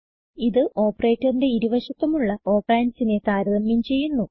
ഇത് opertaorന്റെ ഇരു വശത്തുമുള്ള operandsനെ താരതമ്യം ചെയ്യുന്നു